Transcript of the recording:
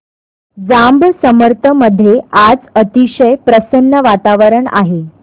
जांब समर्थ मध्ये आज अतिशय प्रसन्न वातावरण आहे